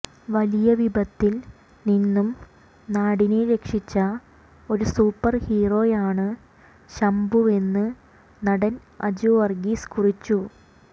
വലിയ വിപത്തിൽ നിന്നും നാടിനെ രക്ഷിച്ച ഒരു സൂപ്പർ ഹീറോയാണ് ശംഭുവെന്ന് നടൻ അജു വർഗീസ് കുറിച്ചു